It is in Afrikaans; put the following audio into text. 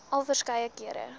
al verskeie kere